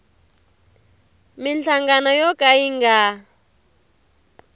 minhlangano yo ka yi nga